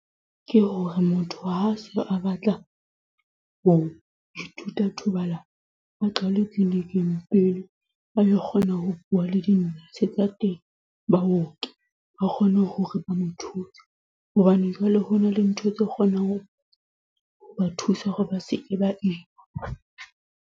Ke hore motho ha se a batla ho ithuta thobalano, ba qale clinic-ing pele a lo kgona ho bua le baoki ba kgone hore ba mo thuse hobane jwale ho na le ntho tse kgonang ho ba thusa hore ba seke ba ima.